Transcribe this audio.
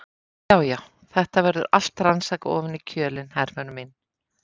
Já, já, þetta verður allt rannsakað ofan í kjölinn, Hervör mín.